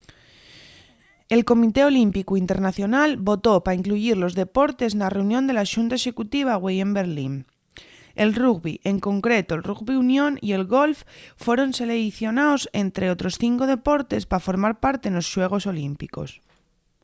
el comité olímpicu internacional votó pa incluyir los deportes na reunión de la xunta executiva güei en berlín el rugbi en concreto'l rugbi union y el golf foron seleicionaos ente otros cinco deportes pa formar parte nos xuegos olímpicos